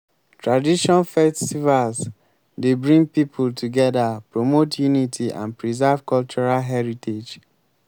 tradition festivals dey bring people together promote unity and preserve cultural heritage.